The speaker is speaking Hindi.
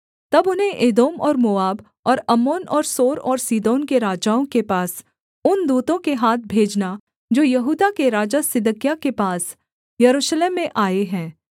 तब उन्हें एदोम और मोआब और अम्मोन और सोर और सीदोन के राजाओं के पास उन दूतों के हाथ भेजना जो यहूदा के राजा सिदकिय्याह के पास यरूशलेम में आए हैं